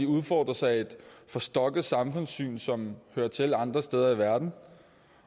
udfordres af et forstokket samfundssyn som hører til andre steder i verden